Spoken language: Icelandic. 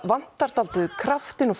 vantar dálítið kraftinn og